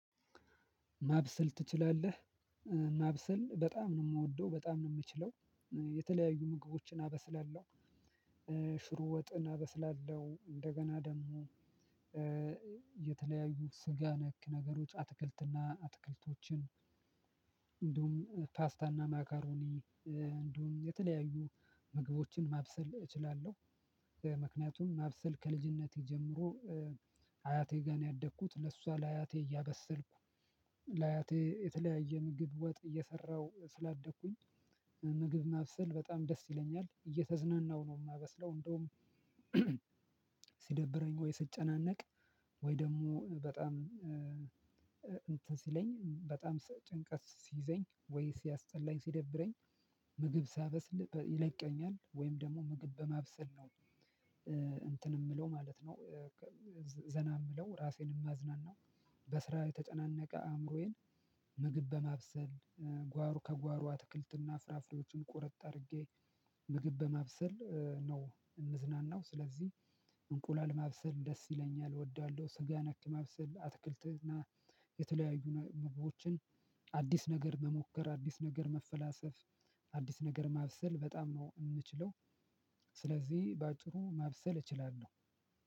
ማብሰል ትችላለህ? ማብሰል በጣም ነው የምወደው በጣም ነው የምችለው የተለያዩ ምግቦችን አበስላለሁ። ሽሮ ወጥን አበስላለሁ እንደገና ደግሞ የተለያዩ ስጋ ነክ ነገሮች አትክልትና አትክልቶችን እንደውም ፓስታና ማኮረኒ እንዲሁም የተለያዩ ምግቦችን ማብሰል እችላለሁ። በ ምክንያቱም ማብሰል ከልጅነቴ ጀምሮ አ አያቴ ጋር ነው ያደኩት ለእሷ ለአያቴ እያበሰልኩ ለአያቴ የተለያየ ምግብ ወጥ እየሰራሁ ስላደኩኝ። ምግብ ማብሰል በጣም ደስ ይለኛል እየተዝናናሁ ነው የማበስለው እንደውም። ሲደብረኝ ወይ ስጨናነቅ ወይ ደግሞ በጣም እንትን ሲለኝ በጣም ስ ጭንቀት ሲይዘኝ ወይ ሲያስጠላኝ ሲደብረኝ ምግብ ሳበስል በ ይለቀኛል ወይም ደግሞ ምግብ በማብሰል ነው እንትን የምለው ማለት ነው። ዘና የምለው ራሴንም ማዝናናው በስራ የተጨናነቀ አእምሮዬን ምግብ በማብሰል ጓሮ ከጓሮ አትክልትና ፍራፍሬዎችን ቁረጥ አድርጌ ምግብ በማብሰል ነው የምዝናናው። ስለዚህ እንቁላል ማብሰል ደስ ይለኛል እወዳለሁ። ስጋ ነክ ማብሰል አትክልትና የተለያዩ ነ ምግቦችን አዲስ ነገር መሞከር አዲስ ነገር መፈላሰፍ አዲስ ነገር ማብሰል በጣም ነው የምችለው። ስለዚህ በአጭሩ ማብሰል እችላለሁ።